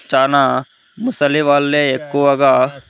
చానా ముసలి వాళ్ళే ఎక్కువగా.